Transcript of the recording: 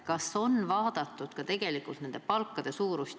Kas on arvestatud ka asjaomaste palkade suurust?